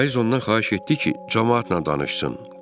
Vaiz ondan xahiş etdi ki, camaatla danışsın.